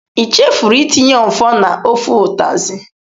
I chefuru itinye ofor na ofe utazi?